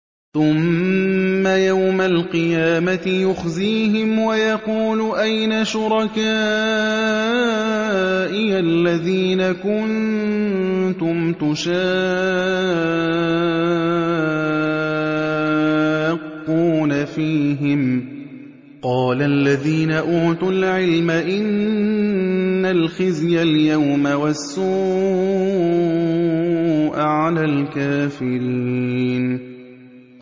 ثُمَّ يَوْمَ الْقِيَامَةِ يُخْزِيهِمْ وَيَقُولُ أَيْنَ شُرَكَائِيَ الَّذِينَ كُنتُمْ تُشَاقُّونَ فِيهِمْ ۚ قَالَ الَّذِينَ أُوتُوا الْعِلْمَ إِنَّ الْخِزْيَ الْيَوْمَ وَالسُّوءَ عَلَى الْكَافِرِينَ